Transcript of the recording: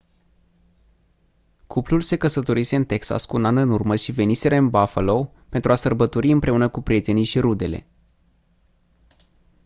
cuplul se căsătorise în texas cu un an în urmă și veniseră în buffalo pentru a sărbători împreună cu prietenii și rudele